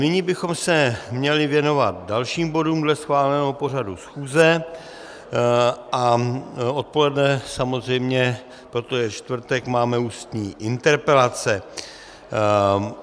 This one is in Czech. Nyní bychom se měli věnovat dalším bodům dle schváleného pořadu schůze a odpoledne samozřejmě, protože je čtvrtek, máme ústní interpelace.